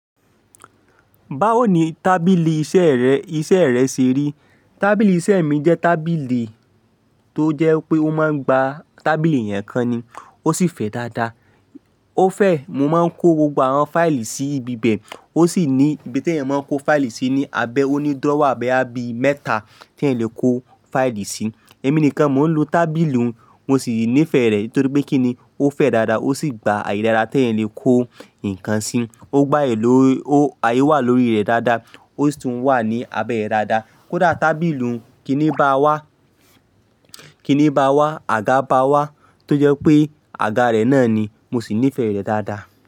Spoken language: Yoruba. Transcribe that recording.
Báwo ni tábìlì iṣẹ́ rẹ, iṣẹ́ rẹ ṣe rí? Tábìlì iṣẹ́ mi jẹ́ tábìlì tó jẹ́ pé ó máa ń gba tábìlì èèyàn kán ni, ó sì fẹ́ dáadáa. Ó fẹ́, mo máa ń kó gbogbo àwọn fáìlì sí ibi bẹ̀, ó sì ní ibi tí ẹ̀yàn máa ń kó fáìlì sí ní abẹ́, ó ní drawer bóyá bi mẹ́ta tí ẹ̀yàn lè kó fáìlì sí. Èmi nìkan mò ń lo tábìlì, mo sì nífẹ̀ẹ́ rẹ̀ nítorí pé kí ni, ó fẹ́ dáadáa, ó sì gba ààyè dáadáa tí ẹ̀yan lè kó ǹkan sí. Ó gba ààyè ló, ó, ààyè wà lórí rẹ̀ dáadáa, ó sì tún wà ní abẹ́ rẹ̀ dáadáa. Kódà tábìlì uń, kí ni bá wá, kí ni bá wá, àga bá wá, tó jẹ́ pé àga rẹ̀ náà ni, mo sì nífẹ̀ẹ́ rẹ̀ dáadáa.